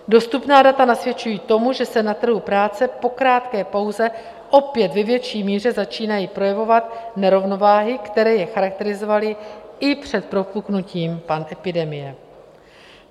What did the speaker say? Dostupná data nasvědčují tomu, že se na trhu práce po krátké pauze opět ve větší míře začínají projevovat nerovnováhy, které je charakterizovaly i před propuknutím epidemie.